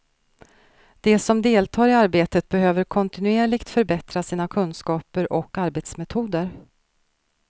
De som deltar i arbetet behöver kontinuerligt förbättra sina kunskaper och arbetsmetoder.